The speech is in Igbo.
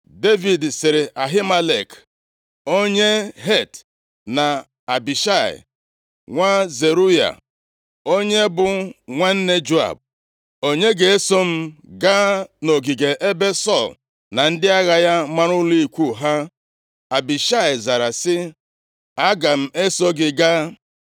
Devid sịrị Ahimelek onye Het, na Abishai, nwa Zeruaya + 26:6 Zeruya bụ nwanne nwanyị Devid, onye toro ya nʼusoro ọmụmụ ha. Nke a dị nʼakwụkwọ \+xt 1Ih 2:16\+xt* Abishai na Joab, ndị bụ ndị ndu ndị agha, tinyere Asahel, bụ ụmụ nwanne nwanyị Devid, nʼihi na ọ bụ Zeruya mụrụ ha, gụọ nke a nʼakwụkwọ \+xt 2Sa 2:13,18,24\+xt* onye bụ nwanne Joab, “Onye ga-eso m gaa nʼogige ebe Sọl na ndị agha ya mara ụlọ ikwu ha?” Abishai zara sị, “Aga m eso gị gaa.”